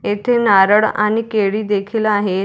येथे नारळ आणि केळी देखील आहे.